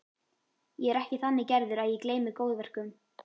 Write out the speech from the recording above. Ég er ekki þannig gerður að ég gleymi góðverkum.